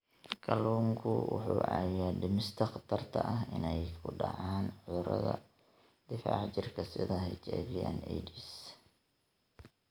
Kalluunku wuxuu caawiyaa dhimista khatarta ah inay ku dhacaan cudurrada difaaca jirka sida HIV/AIDS.